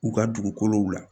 U ka dugukolow la